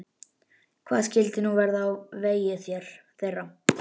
Hvað skyldi nú verða á vegi þeirra?